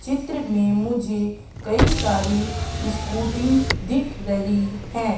चित्र में मुझे कई सारी इसकुटी दिख रही है।